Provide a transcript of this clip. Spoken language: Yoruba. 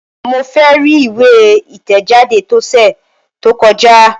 Mo fẹ ri iwe itẹjade tọsẹ to kọja!